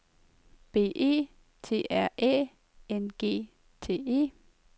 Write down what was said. B E T R Æ N G T E